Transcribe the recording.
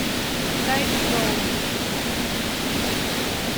тайчжоу